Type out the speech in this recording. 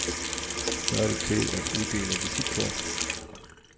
Så er det tid at uddele visitkort.